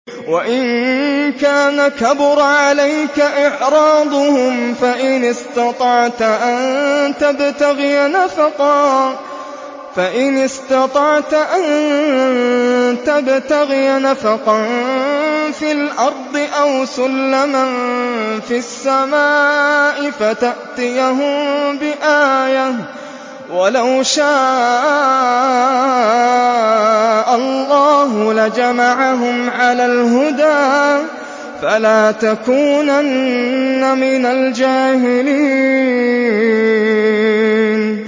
وَإِن كَانَ كَبُرَ عَلَيْكَ إِعْرَاضُهُمْ فَإِنِ اسْتَطَعْتَ أَن تَبْتَغِيَ نَفَقًا فِي الْأَرْضِ أَوْ سُلَّمًا فِي السَّمَاءِ فَتَأْتِيَهُم بِآيَةٍ ۚ وَلَوْ شَاءَ اللَّهُ لَجَمَعَهُمْ عَلَى الْهُدَىٰ ۚ فَلَا تَكُونَنَّ مِنَ الْجَاهِلِينَ